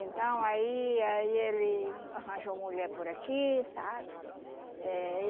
Então aí aí ele arranjou mulher por aqui, sabe? Eh